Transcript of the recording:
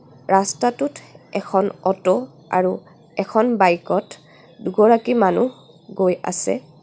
ৰাস্তাটোত এখন অটো আৰু এখন বইক ত দুগৰাকী মানুহ গৈ আছে.